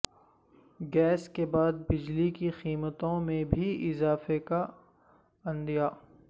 gas کے بعد بجلی کی قیمتوں میں بھی اضافے کا عندیہ